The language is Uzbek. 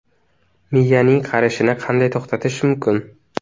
Miyaning qarishini qanday to‘xtatish mumkin?